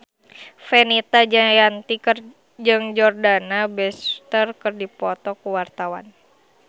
Fenita Jayanti jeung Jordana Brewster keur dipoto ku wartawan